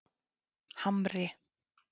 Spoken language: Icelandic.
Hamri